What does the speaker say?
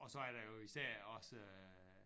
Og så er der jo især også